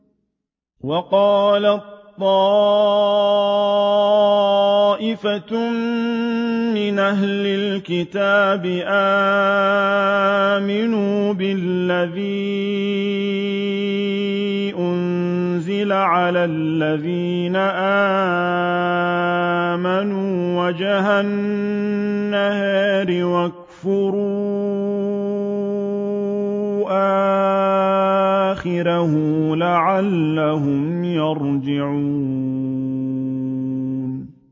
وَقَالَت طَّائِفَةٌ مِّنْ أَهْلِ الْكِتَابِ آمِنُوا بِالَّذِي أُنزِلَ عَلَى الَّذِينَ آمَنُوا وَجْهَ النَّهَارِ وَاكْفُرُوا آخِرَهُ لَعَلَّهُمْ يَرْجِعُونَ